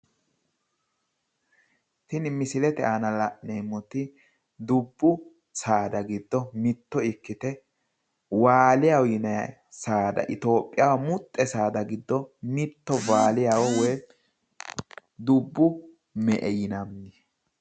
tini misilete aana la'neemmoti dubbu saada giddo mitte ikkite waaliya yinani saada itiyoophiyaho muxxe saada giddo muxxe woyi dubbu me''e yinanni.